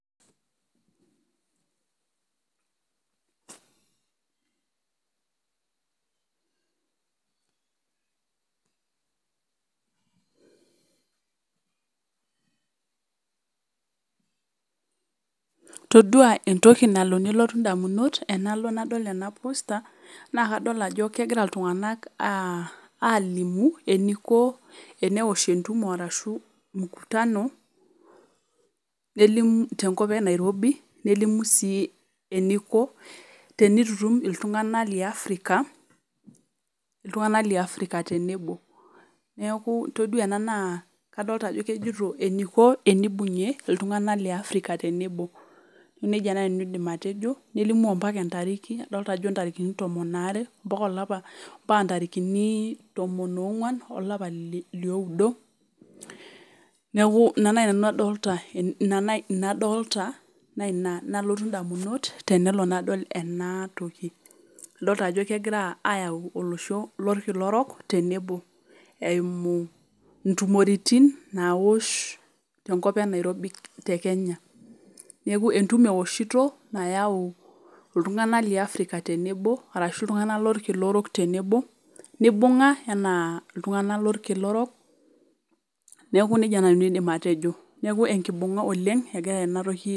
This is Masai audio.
Todua etoki nalo nelotu damunot tenadol ena posta naa kadol ajo kegira iltunganak alimu eniko teneosh etumo arashu mkutano nelimu te nkop enairobi, nelimu sii eniko tenitutum iltunganak le afrika tenebo. Neaku todua ena naa, kadolita ajo kejito eniko teneibungie iltunganak le afrika tenebo. Neaku nejia naaji nanu aidim atejo nelimu apaka etariki adolita ajo etariki tomon aare, mpaka olapa mpaka tarikini tomon onguan olapa liodo, neaku ina naaji nanu adolita. Naina nalotu indamunot adolita ayau olosho lo kila orok te nebo, eimu itumoritin naosh te nkop enairobi te Kenya. Neaku etumo eoshita nayau iltunganak le afrika tenebo arashu iltunganak lo losho lo kila orok tenebo neibunga enaa iltunganak lo kila orok tenebo neaku nejia nanu aidim atejo ekibunga oleng egira enatoki.